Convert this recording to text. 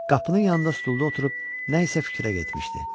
Qapının yanında stulda oturub nəsə fikrə getmişdi.